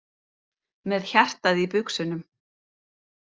Með hjartað í buxunum.